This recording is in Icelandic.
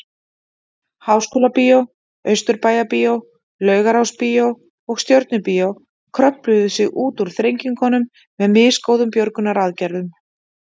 Háskólabíó, Austurbæjarbíó, Laugarásbíó og Stjörnubíó kröfluðu sig út úr þrengingunum með misgóðum björgunaraðgerðum.